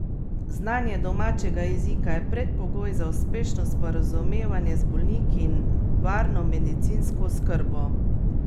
Znanje domačega jezika je predpogoj za uspešno sporazumevanje z bolniki in varno medicinsko oskrbo.